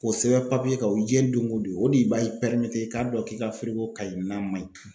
K'o sɛbɛn kan o ye doŋo don, o de ba i i k'a dɔn k'i ka kaɲi n'a ma ɲi.